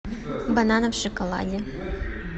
бананы в шоколаде